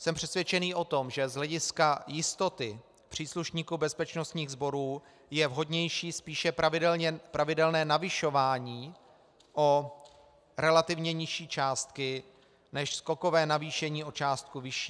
Jsem přesvědčený o tom, že z hlediska jistoty příslušníků bezpečnostních sborů je vhodnější spíše pravidelné navyšování o relativně nižší částky než skokové navýšení o částku vyšší.